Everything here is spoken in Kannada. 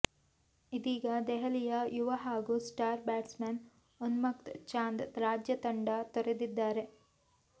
ಇದೀಗ ದೆಹಲಿಯ ಯುವ ಹಾಗೂ ಸ್ಟಾರ್ ಬ್ಯಾಟ್ಸ್ಮನ್ ಉನ್ಮುಕ್ತ್ ಚಾಂದ್ ರಾಜ್ಯ ತಂಡ ತೊರೆದಿದ್ದಾರೆ